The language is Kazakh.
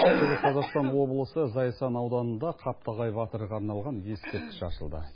шығыс қазақстан облысы зайсан ауданында қаптағай батырға арналған ескерткіш ашылды